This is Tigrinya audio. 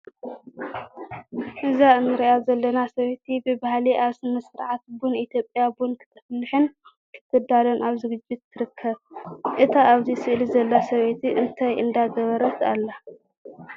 እዛ እንርእያ ዘለና ሰበይቲ ብባህሊ ኣብ ስነ-ስርዓት ቡን ኢትዮጵያ ቡን ክትፍልሕን ክትዳሉን ኣብ ዝግጅት ትርከብ። "እታ ኣብዚ ስእሊ ዘላ ሰበይቲ እንታይ እንዳገበረት ኣላ?"